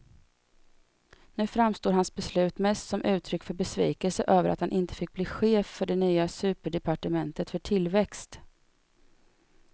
Nu framstår hans beslut mest som uttryck för besvikelse över att han inte fick bli chef för det nya superdepartementet för tillväxt.